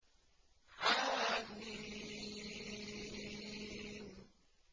حم